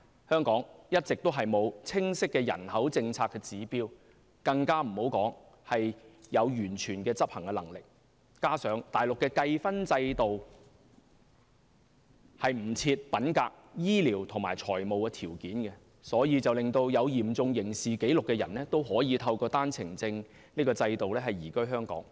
香港一直沒有清晰的人口政策指標，更別說有完全的執行能力，加上內地計分制度不設品格、醫療及財務條件，所以有嚴重刑事紀錄的人也可以透過單程證制度移居香港。